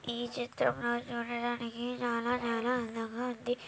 ఈ చిత్రంలో చూడడానికి చాలా-చాలా అందంగా ఉంది.